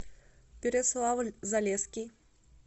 переславль залесский